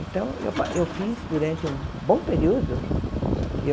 Então, eu pa eu fiz durante um bom período. Eu